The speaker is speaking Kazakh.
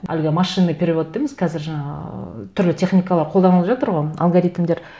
әлгі машинный перевод дейміз қазір жаңа ыыы түрлі техникалар қолданылып жатыр ғой алгоритмдер